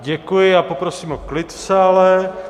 Děkuji a poprosím o klid v sále.